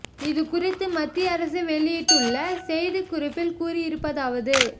இது குறித்து மத்திய அரசு வெளியிட்டுள்ள செய்தி குறிப்பில் கூறி இருப்பதாவது